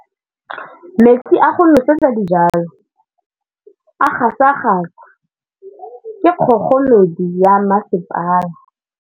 Metsi a go nosetsa dijalo a gasa gasa ke kgogomedi ya masepala.